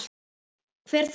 Hver þá?